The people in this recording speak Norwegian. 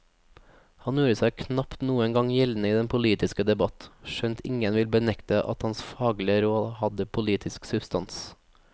Han gjorde seg knapt noen gang gjeldende i den politiske debatt, skjønt ingen vil benekte at hans faglige råd hadde politisk substans.